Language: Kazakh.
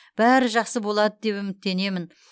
бәрі жақсы болады деп үміттенемін